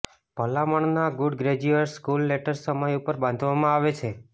ભલામણના good graduate school letters સમય ઉપર બાંધવામાં આવે છે